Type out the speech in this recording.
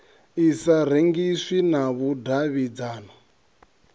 i sa rengiswi na vhudavhidzano